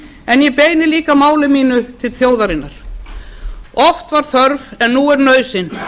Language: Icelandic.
en ég beini líka máli mínu til þjóðarinnar oft var þörf en nú er nauðsyn